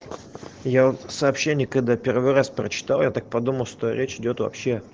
я сообщение когда первый раз прочитал я так подумал что речь идёт вообше